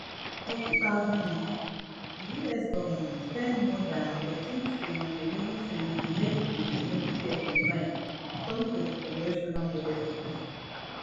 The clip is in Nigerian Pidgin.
for two thousand and twenty-three di us government spend more dan fourteentn eleven tn on medicaid and medicare combine according to di congressional budget office